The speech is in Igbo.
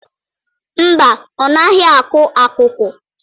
Mba, ọ naghị akụ akụkụ.